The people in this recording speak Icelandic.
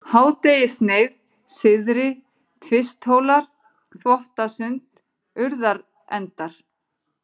Hádegissneið, Syðri-Tvisthólar, Þvottasund, Urðarendar